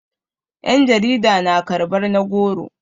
yan jarida na karbar na goro